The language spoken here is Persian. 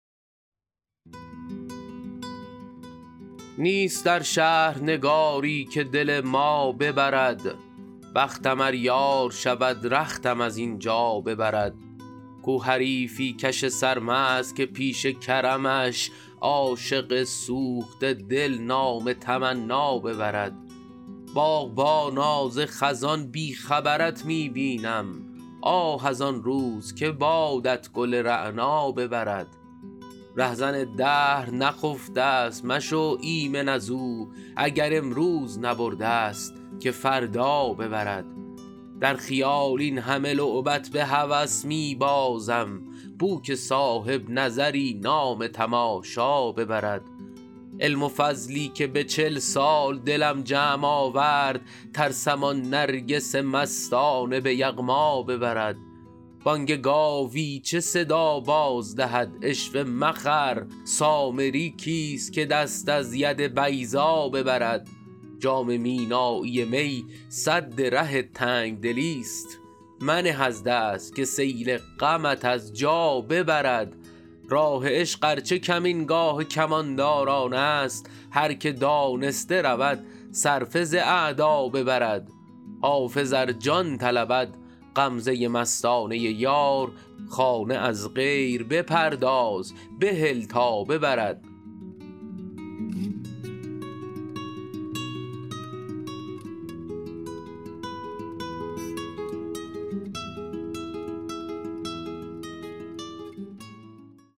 نیست در شهر نگاری که دل ما ببرد بختم ار یار شود رختم از این جا ببرد کو حریفی کش سرمست که پیش کرمش عاشق سوخته دل نام تمنا ببرد باغبانا ز خزان بی خبرت می بینم آه از آن روز که بادت گل رعنا ببرد رهزن دهر نخفته ست مشو ایمن از او اگر امروز نبرده ست که فردا ببرد در خیال این همه لعبت به هوس می بازم بو که صاحب نظری نام تماشا ببرد علم و فضلی که به چل سال دلم جمع آورد ترسم آن نرگس مستانه به یغما ببرد بانگ گاوی چه صدا باز دهد عشوه مخر سامری کیست که دست از ید بیضا ببرد جام مینایی می سد ره تنگ دلی ست منه از دست که سیل غمت از جا ببرد راه عشق ار چه کمینگاه کمانداران است هر که دانسته رود صرفه ز اعدا ببرد حافظ ار جان طلبد غمزه مستانه یار خانه از غیر بپرداز و بهل تا ببرد